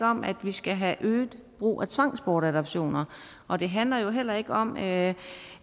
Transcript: om at vi skal have øget brug af tvangsbortadoptioner og det handler jo heller ikke om at